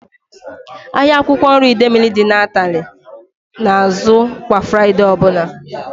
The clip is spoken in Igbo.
Ahịa akwụkwọ nri Idemili dị n'Atani na azụ kwa Fraịdee ọbụla